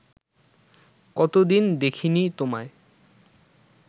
কতদিন দেখিনি তোমায়